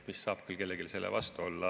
Mis saab küll kellelgi selle vastu olla.